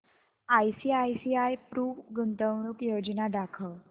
ICICI Pru गुंतवणूक योजना दाखव